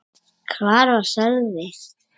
Hvar var Sölvi?